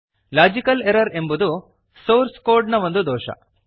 logical error ಎಂಬುದು source codeನ ಒಂದು ದೋಷ